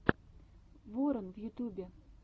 ворон в ютюбе